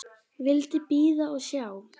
Vildi bíða og sjá.